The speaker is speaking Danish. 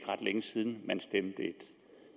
ret længe siden man stemte